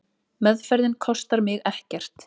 Meðferðin kostar mig ekkert.